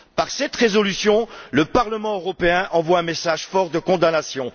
Par cette résolution, le Parlement européen envoie un message fort de condamnation.